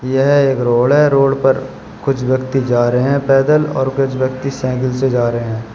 यह एक रोड है रोड पर कुछ व्यक्ति जा रहे हैं पैदल और कुछ व्यक्ति साइकिल से जा रहे हैं।